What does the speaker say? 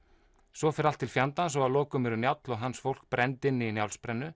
svo fer allt til fjandans og að lokum eru Njáll og hans fólk brennd inni í Njálsbrennu